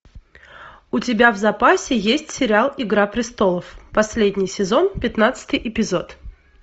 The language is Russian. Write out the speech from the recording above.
у тебя в запасе есть сериал игра престолов последний сезон пятнадцатый эпизод